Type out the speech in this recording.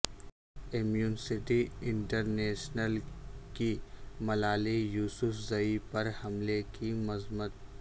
Amnesty International کی Malala Yousafzai پر حملے کی مذمت